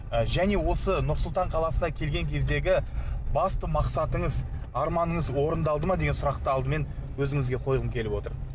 ы және осы нұр сұлтан қаласына келген кездегі басты мақсатыңыз арманыңыз орындалды ма деген сұрақты алдымен өзіңізге қойғым келіп отыр